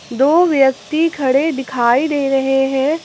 दो व्यक्ति खड़े दिखाई दे रहे हैं।